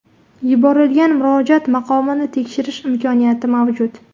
Yuborilgan murojaat maqomini tekshirish imkoniyati mavjud.